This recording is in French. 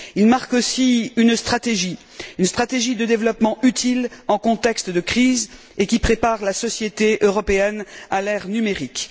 Il témoigne aussi d'une stratégie, d'une stratégie de développement utile dans un contexte de crise et qui prépare la société européenne à l'ère numérique.